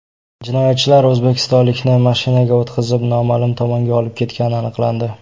Jinoyatchilar o‘zbekistonlikni mashinaga o‘tqizib, noma’lum tomonga olib ketgani aniqlandi.